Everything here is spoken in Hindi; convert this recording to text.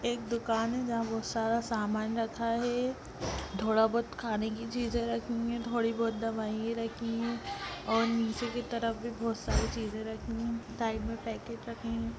एक दुकान है जहाँ बहुत सारा सामान रखा है। थोड़ा बहुत खाने की चीज़े है रखी हुई है थोड़ी बहुत दवाईयां रखी हैं और नीचे की तरफ भी बहुत सारी चीज़े रखी हैं। साइड में पैकेट रखे हैं।